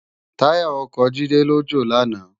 Tàyá òkò Jide jó làná